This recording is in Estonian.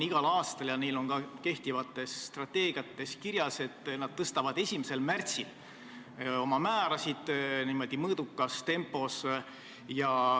Lätis on kehtivas strateegias kirjas, et nad tõstavad igal aastal 1. märtsil aktsiisimäärasid, niimoodi mõõdukas tempos.